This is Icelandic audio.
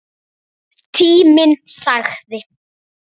Tíminn sagði: